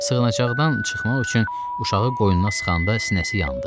Sığınacaqdan çıxmaq üçün uşağı qoynuna sıxanda sinəsi yandı.